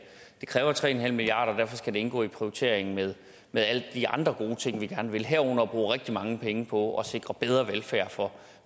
kræver tre en halv milliard kr og derfor skal det indgå i prioriteringen med med alle de andre gode ting vi gerne vil have herunder at bruge rigtig mange penge på at sikre bedre velfærd for